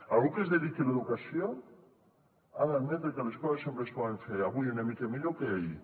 algú que es dediqui a l’educació ha d’admetre que les coses sempre es poden fer avui una mica millor que ahir